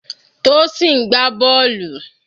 Tosin ń gbá bọ́ọ̀lù.